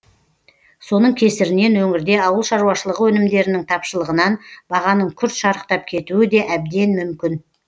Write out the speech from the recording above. соның кесірінен өңірде ауыл шаруашылығы өнімдерінің тапшылығынан бағаның күрт шарықтап кетуі де әбден мүмкін